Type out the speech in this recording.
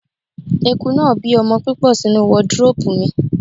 Eku náà bí ọmọ púpọ̀ sínú wọdróòpù mi.